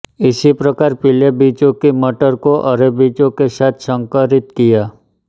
इसी प्रकार पीले बीजों की मटर को हरे बीजों के साथ संकरित किया